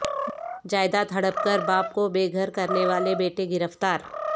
جائیداد ہڑپ کر باپ کو بے گھر کرنے والے بیٹے گرفتار